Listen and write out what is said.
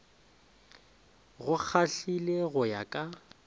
go kgahlile go ya ka